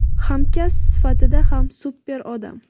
hamkasb sifatida ham super odam.